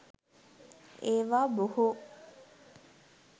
ඒවා බොහෝ